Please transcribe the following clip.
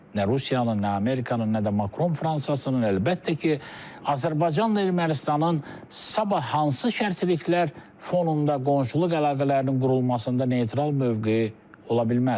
Nə Rusiyanın, nə Amerikanın, nə də Makron Fransasının, əlbəttə ki, Azərbaycanla Ermənistanın sabah hansı şərtiliklər fonunda qonşuluq əlaqələrinin qurulmasında neytral mövqe ola bilməz.